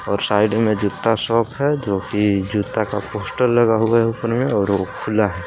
और साइड में जूता शॉप है जो कि जूता का पोस्टर लगा हुआ है ऊपर में और वो खुला है।